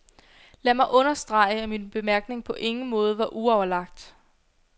Lad mig understrege, at min bemærkning på ingen måde var uoverlagt.